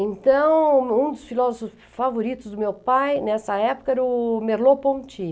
Então, um dos filósofos favoritos do meu pai nessa época era o Merleau-Ponty.